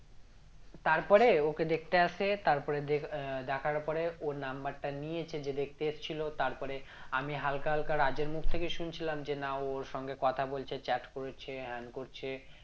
তারপরে ওকে দেখতে আসে তারপরে আহ দেখার পরে ওর number টা নিয়েছে যে দেখতে এসেছিলো তারপরে আমি হালকা হালকা রাজের মুখ থেকে শুনছিলাম যে না ও ওর সঙ্গে কথা বলছে chat করেছে হ্যান করছে